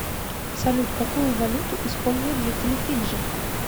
салют какую валюту используют жители фиджи